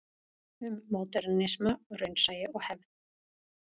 Um módernisma, raunsæi og hefð.